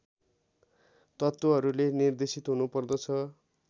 तत्त्वहरुले निर्देशित हुनुपर्दछ